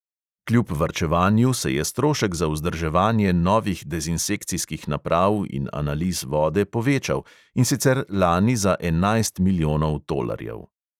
Kljub varčevanju se je strošek za vzdrževanje novih dezinsekcijskih naprav in analiz vode povečal, in sicer lani za enajst milijonov tolarjev.